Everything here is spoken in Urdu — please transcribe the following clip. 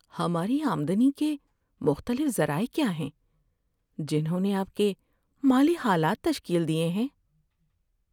ہماری آمدنی کے مختلف ذرائع کیا ہیں جنہوں نے آپ کے مالی حالات تشکیل دیے ہیں؟